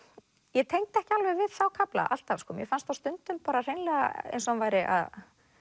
ég tengdi ekki alveg við þá kafla alltaf mér fannst á stundum hreinlega eins og hann væri að